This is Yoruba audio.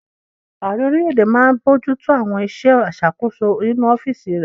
Ààrẹ orílẹ̀-èdè máa n bojútó àwọn iṣẹ́ ìṣàkóso nínu ọ́fìsì rẹ̀